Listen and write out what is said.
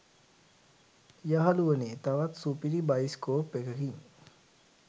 යහළුවනේ තවත් සුපිරි බයිස්කෝප් එකකින්